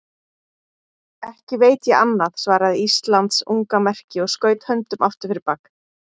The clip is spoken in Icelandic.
Ekki veit ég annað, svaraði Íslands unga merki og skaut höndum aftur fyrir bak.